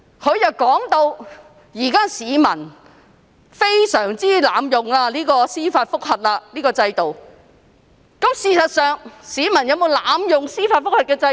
她說市民現在經常濫用司法覆核制度，但事實上，市民有否濫用司法覆核制度？